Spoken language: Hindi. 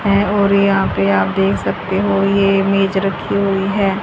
है और यहा पे आप देख सकते हो ये मेज रखी हुई है।